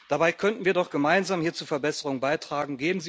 Dabei könnten wir doch gemeinsam hier zur Verbesserung beitragen.